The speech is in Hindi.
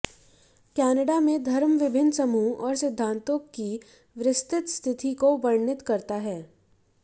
कनाडा में धर्म विभिन्न समूहों और सिद्धान्तों की विस्तृत स्थिति को वर्णित करता है